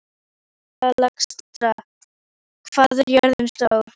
Alexstrasa, hvað er jörðin stór?